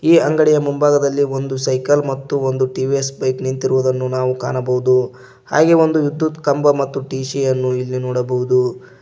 ಈ ಅಂಗಡಿಯ ಮುಂಭಾಗದಲ್ಲಿ ಒಂದು ಸೈಕಲ್ ಮತ್ತು ಒಂದು ಟಿ_ವಿ_ಎಸ್ ಬೈಕ್ ನಿಂತಿರುವುದನ್ನು ನಾವು ಕಾಣಬಹುದು ಹಾಗೆ ಒಂದು ವಿದ್ಯುತ್ ಕಂಬ ಮತ್ತು ಟಿ_ಸಿ ಯನ್ನು ಇಲ್ಲಿ ನೋಡಬಹುದು.